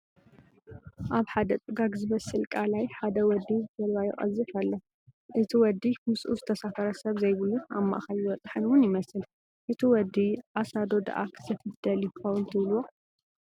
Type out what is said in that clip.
ኣብ ሓደ ጭጋግ ዝመስል ቃላይ ሓደ ወዲ ጀልባ ይቐዝፍ ላሎ፡፡ እቲ ወዲ ምስኡ ዝተሳፈረ ሰብ ዘይብሉን ኣብ ማእኸል ዝበፅሐን ውን ይመስል፡፡ እቲ ወዲ ዓሳ ዶ ዳኣ ክዘፍፍ ደሊዩ ይኸውን ትብልዎ?